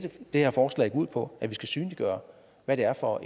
her forslag går ud på er vi skal synliggøre hvad det er for